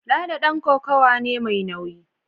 Lalo dan kokawa ne mai nauyi